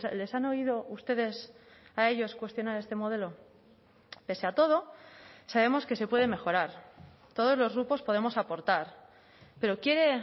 les han oído ustedes a ellos cuestionar este modelo pese a todo sabemos que se puede mejorar todos los grupos podemos aportar pero quiere